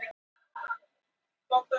Uppreisnarseggurinn hlær undir fjallinu.